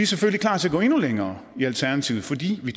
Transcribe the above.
selvfølgelig klar til at gå endnu længere i alternativet fordi vi